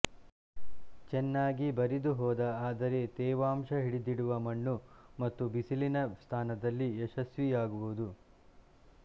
ಚೆನ್ನಾಗಿ ಬರಿದುಹೋದ ಆದರೆ ತೇವಾಂಶಹಿಡಿದಿಡುವ ಮಣ್ಣು ಮತ್ತು ಬಿಸಿಲಿನ ಸ್ಥಾನದಲ್ಲಿ ಯಶಸ್ವಿಯಾಗುವುದು